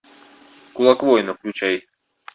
кулак воина включай